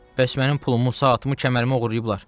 Bəs mənim pulumu, saatımı, kəmərimi oğurlayıblar?